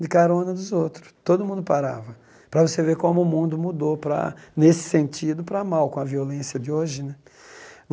De carona dos outros, todo mundo parava, para você ver como o mundo mudou para, nesse sentido, para mal, com a violência de hoje né.